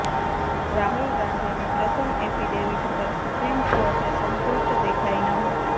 રાહુલ ગાંધીની પ્રથમ એફિડેવિટ પર સુપ્રીમ કોર્ટ સંતુષ્ટ દેખાઇ ન હતી